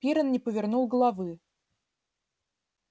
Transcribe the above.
пиренн не повернул головы